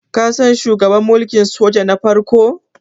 kasan shugaban mulkin soja na farko?